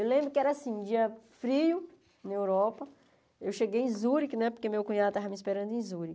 Eu lembro que era assim, um dia frio, na Europa, eu cheguei em Zurique né, porque meu cunhado estava me esperando em Zurique.